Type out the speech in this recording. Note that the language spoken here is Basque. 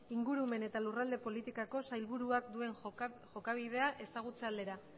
ingurumen eta lurralde politikako sailburuak duen jokabidea ezagutze aldera